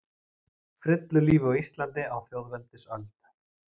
Frillulífi á Íslandi á þjóðveldisöld.